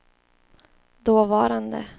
dåvarande